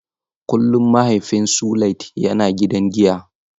Kullum mahaifin Suliat yana gidan giyan.